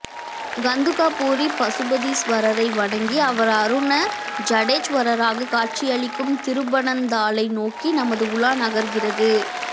கந்துகாபுரி பசுபதீஸ்வரரை வணங்கி அவர் அருண ஜடேச்வரராகக் காட்சி அளிக்கும் திருப்பனந்தாளை நோக்கி நமது உலா நகர்கிறது